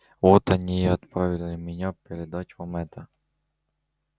вот они и отправили меня передать вам это